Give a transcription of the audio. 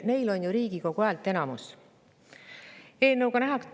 Neil on ju Riigikogus häälteenamus!